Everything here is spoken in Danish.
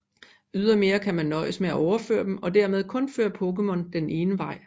Ydermere kan man nøjes med at overføre dem og dermed kun føre Pokémon den ene vej